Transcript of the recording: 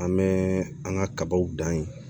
An bɛ an ka kabaw dan ye